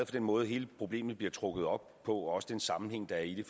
den måde hele problemet bliver trukket op på og også den sammenhæng der er i det